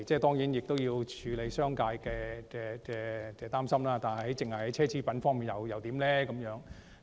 固然要處理商界的擔憂，但只是在奢侈品方面徵稅又如何？